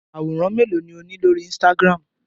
Àwòrán mélòó ni ó ní lórí Instagram?